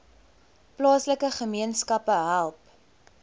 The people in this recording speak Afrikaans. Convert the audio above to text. plaaslike gemeenskappe help